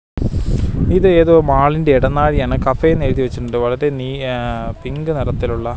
ഇതേതോ മാളിന്റെ എടനാഴിയാണ് കഫേ ന്നെഴുതി വെച്ചിട്ടുണ്ട് വളരെ നീ ആഹ് പിങ്ക് നിറത്തിലുള്ള.